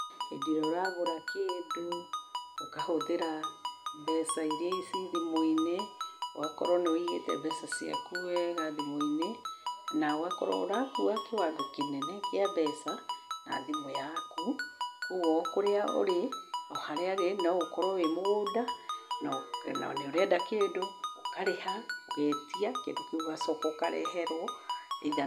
Hĩndĩ ĩrĩa ũragũra kĩndũ, ũkahũthĩra mbeca iria ci thimũ-inĩ. Ũgakorwo nĩ wũigĩte mbeca ciaku wega thimũ-inĩ, na ũgakorwo ũrakua kĩwango kĩnene kĩa mbeca na thimũ yaku. Kwoguo o kũrĩa ũrĩ, o harĩa arĩ, no ũkorwo wĩ mũgũnda na nĩ ũrenda kĩndũ, ũkarĩha, ũgeetia kĩndũ kĩu ũgacoka ũkareherwo.